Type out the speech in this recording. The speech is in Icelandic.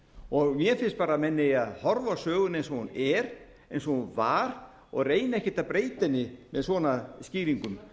og mér finnst að menn eigi að horfa á söguna eins og hún var og reyna ekkert að breyta henni með svona skýringum